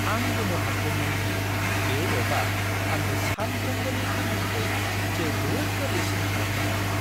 आं गोमोहाबदोंमोन दि बे एपआ आंनि सानफ्रोम्बोनि खामानिखौ जोबोद गोरलैसिन खालामनो हादों!